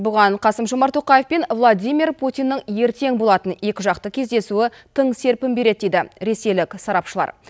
бұған қасым жомарт тоқаев пен владимир путиннің ертең болатын екі жақты кездесуі тың серпін береді дейді ресейлік сарапшылар